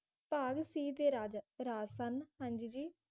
ਭਾਗ C ਦੇ ਰਾਜਾ ਰਾਜ ਸਨ ਹਾਂਜੀ ਜੀ